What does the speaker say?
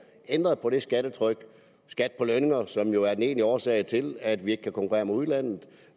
ændret på det skattetryk skat på lønninger som jo er den egentlige årsag til at vi ikke kan konkurrere med udlandet